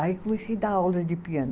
Aí comecei dar aula de piano.